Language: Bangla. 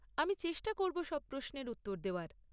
আমি চেষ্টা করব সব প্রশ্নের উত্তর দেওয়ার।